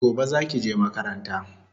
Gobe zaki je makaranta